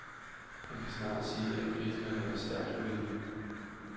Man kan snarere sige at kritikerne var stærkt uenige.